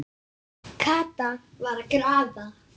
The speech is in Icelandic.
Kata var að grafa.